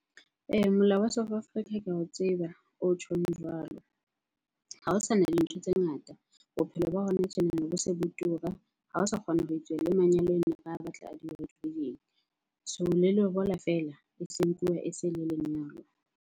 Ee, molao wa South Africa ke ao tseba o tjhong jwalo. Ha ho sana dintho tse ngata, bophelo ba hona tjenana bo se bo tura. Ha o sa kgona ho etsuwa le manyalo ene re a batla a di- white wedding. So le lobola feela e seng nkuwa e se le lenyalo.